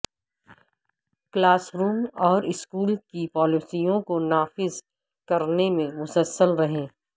class room اور school کی پالیسیوں کو نافذ کرنے میں مسلسل رہیں